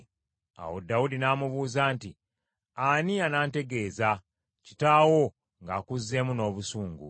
Awo Dawudi n’amubuuza nti, “Ani anantegeeza, kitaawo ng’akuzzeemu n’obusungu?”